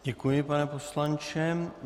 Děkuji, pane poslanče.